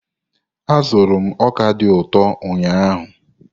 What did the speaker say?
Azụrụ m ọka dị ụtọ ụnyahụ.